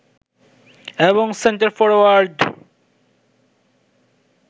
এবং centre forward